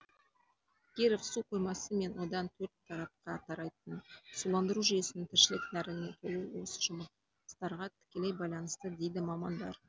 киров су қоймасы мен одан төрт тарапқа тарайтын суландыру жүйесінің тіршілік нәріне толуы осы жұмыстарға тікелей байланысты дейді мамандар